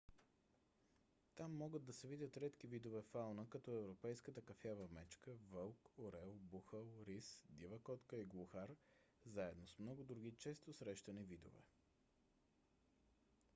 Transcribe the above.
там могат да се видят редки видове фауна като европейската кафява мечка вълк орел бухал рис дива котка и глухар заедно с много други често срещани видове